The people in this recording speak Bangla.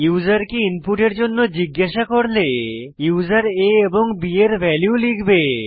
ইউসারকে ইনপুটের জন্য জিজ্ঞাসা করলে ইউসার a এবং b এর ভ্যালু লিখবে